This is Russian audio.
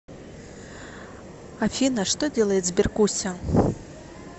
афина что делает сберкуся